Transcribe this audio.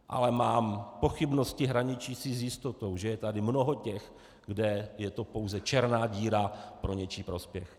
Ale mám pochybnosti hraničící s jistotou, že je tady mnoho těch, kde je to pouze černá díra pro něčí prospěch.